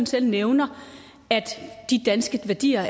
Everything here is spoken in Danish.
selv nævner at de danske værdier